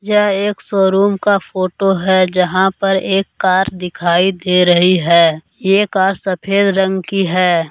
यह एक शोरूम का फोटो है जहां पर एक कार दिखाई दे रही है ये कार सफेद रंग की है।